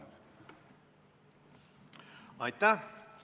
Aitäh!